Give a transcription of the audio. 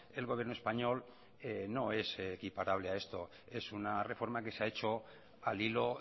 el gobierno español no es equiparable a esto es una reforma que se ha hecho al hilo